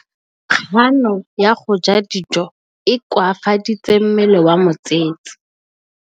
Kganô ya go ja dijo e koafaditse mmele wa molwetse.